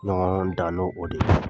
Ɲɔgɔndɔn danne o de la.